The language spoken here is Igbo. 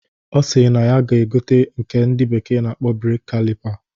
Ọ sịrị na ya ga-egote nke ndị bekee na-akpọ Breeki kalipa